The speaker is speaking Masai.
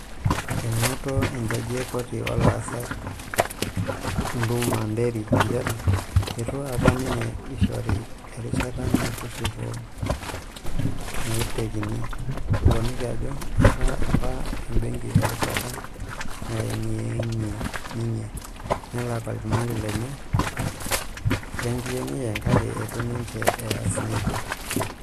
Enoto ejaji e koti oo laasak Nduma Nderi njere eitu apa ninye eishori erishata metushuku naaitekini, eponiki ajo eeta apa ebenki erishata nayengiyengia ninye nelak olchumati lenye lenkiyengiyeng kake eitu ninje eeas nejia.